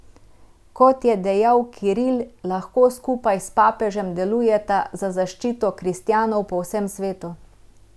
Kot je dejal Kiril, lahko skupaj s papežem delujeta za zaščito kristjanov po vsem svetu.